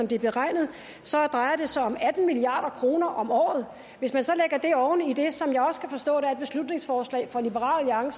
det er beregnet drejer det sig om atten milliard kroner om året hvis man så lægger det oven i det som jeg også kan forstå der er et beslutningsforslag fra liberal